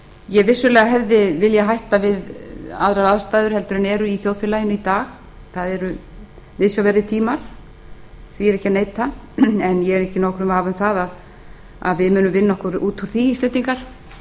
ég hefði vissulega viljað hætta við aðrar aðstæður en eru í þjóðfélaginu í dag það eru viðsjárverðir tíma því er ekki að neita en ég er ekki í nokkrum vafa um að við munum vinna okkur út úr því íslendingar